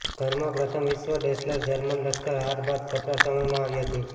ઘરમાં પ્રથમ વિશ્વ ડેસલર જર્મન લશ્કર હાર બાદ કપરા સમયમાં આવી હતી